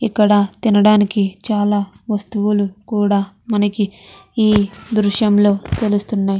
ఇక్కడ తినడానికి చాలా వస్తువులు కూడా మనకి ఈ దృశ్యం లో తెలుస్తున్నాయి.